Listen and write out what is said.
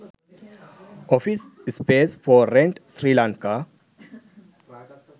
office space for rent sri lanka